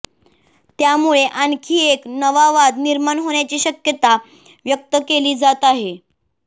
त्यामुळे आणखी एक नवा वाद निर्माण होण्याची शक्यता व्यक्त केली जात आहे